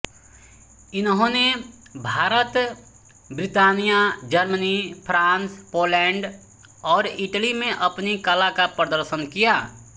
इन्होंने Bharat Britannia Germany France Poland और Italy में अपनी कला का प्रदर्शन किया